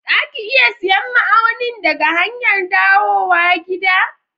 Za ki iya siyan ma'aunin daga hanyar dawowa gida?